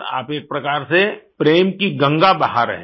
आप एक प्रकार से प्रेम की गंगा बहा रहे हैं